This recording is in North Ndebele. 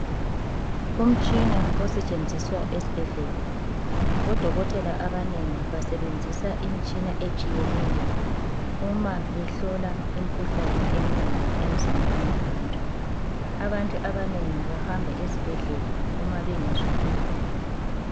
Umtshina osetshenziswa esibhedlela. Bodokotela abanengi basebenzisa imitshina etshiyeneyo uma behlola imikhuhlane eminengi emzimbeni yabantu. Abantu abanengi bahamba ezibhedlela uma bengezwa kuhle.